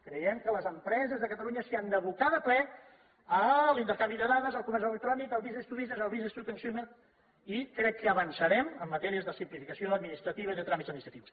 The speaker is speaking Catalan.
creiem que les empreses de catalunya s’hi han d’abocar de ple a l’intercanvi de dades al comerç electrònic al business to business al business to consumer i crec que hi avançarem en matèria de simplificació administrativa i de tràmits administratius